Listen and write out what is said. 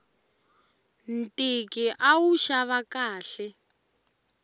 ntiki a wu xava khale